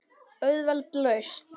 Auðveld lausn.